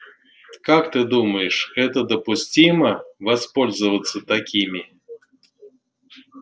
как ты думаешь это допустимо воспользоваться такими